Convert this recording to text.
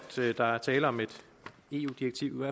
der er tale om et eu direktiv